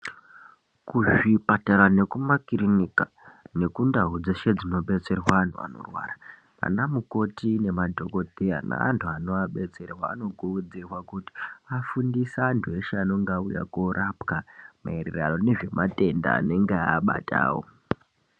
Kuzvipatara nekumakirinika nekundau dzeshe dzinodetserwa anthu anorwara ana mukoti nemadhokodheya neanthu anoabetserwa anokurudzirwa kuti afundise anthu eshe aneng auya korapwa maererano nezvematenda anenge abatao.